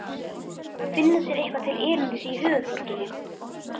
Finna sér eitthvað til erindis í höfuðborginni?